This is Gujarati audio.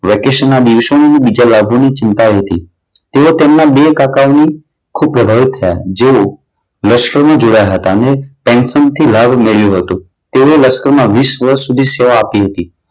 વેકેશનના દિવસોની, બીજા લાભોની ચિંતાઓ હતી. તેઓ તેમના બે કાકાઓની ખૂબ પ્રભાવિત થયા જેવો લશ્કરમાં જોડાયા હતા. અને પેન્શન થી લાભ મળ્યું હતું તેમણે લશ્કરમાં વીસ વર્ષની સેવા આપી હતી.